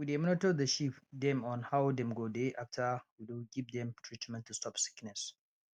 we dey monitor the sheep dem on how dem go dey after we do give dem treatment to stop sickness